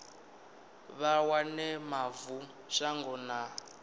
vha wane mavu shango na